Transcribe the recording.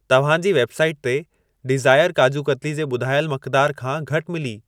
तव्हां जी वेबसाइट ते डीज़ायर काजू कतली जे ॿुधायल मक़दार खां घटि मिली।